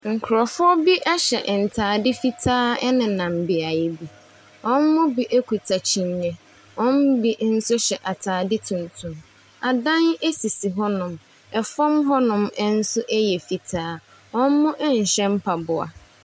Nkorɔfo bi ɛhyɛ ntaade fitaa ɛnenam beayɛ bi. Wɔn mu bi ekuta kyiniiɛ. Wɔn mu bi nso hyɛ ataade tuntum. Adaen esisi hɔ nom. Ɛfɔm hɔ nom nso ɛyɛ fitaa. Ɔmo nhyɛ mpaboa.